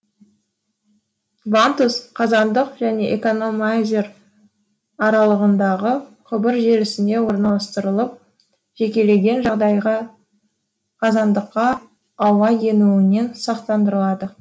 вантуз қазандық және экономайзер аралығындағы құбыр желісіне орналастырылып жекелеген жағдайға қазандыққа ауа енуінен сақтандырылады